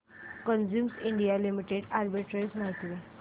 Cummins India limited arbitrage माहिती दे